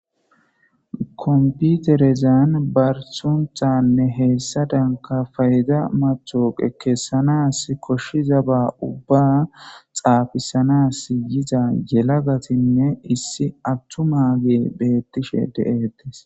Computerezan barsuntanne heessa danka fayiza mathoqe kessanas koshshiza ba ubba xaafisanas yiza yelagatinne issi attu mage beettishe de7ettes.